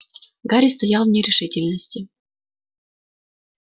гарри стоял в нерешительности